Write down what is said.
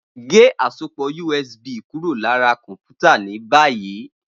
Ge asopọ USB kuro lati kọnputa ni bayi!